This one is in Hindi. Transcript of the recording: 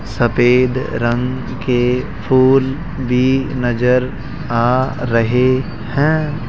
सफेद रंग के फूल भी नजर आ रहें हैं।